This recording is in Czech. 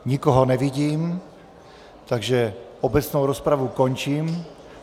Nikoho nevidím, takže obecnou rozpravu končím.